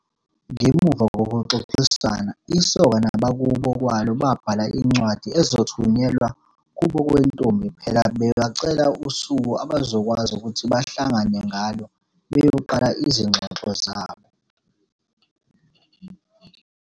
Ngemuva kokuxoxisana isoka nabakubo kwalo babhala incwadi ezothunyelwa kubo kwentombi phela bebacela usuku abazokwazi ukuthi bahlangane ngalo beyoqala izigxogxo zabo.